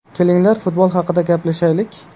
Kelinglar futbol haqida gaplashaylik.